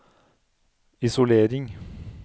isolering